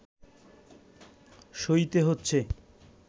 সইতে হচ্ছে